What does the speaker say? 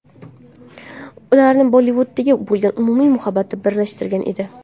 Ularni Bollivudga bo‘lgan umumiy muhabbat birlashtirgan edi.